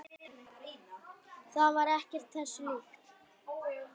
Það var ekkert þessu líkt.